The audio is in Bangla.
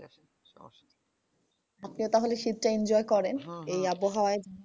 আচ্ছা তাহলে শীত টা enjoy করেন এই আবহাওয়ায়?